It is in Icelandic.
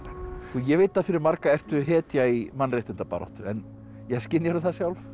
ég veit að fyrir marga ertu hetja í mannréttindabaráttu en skynjarðu það sjálf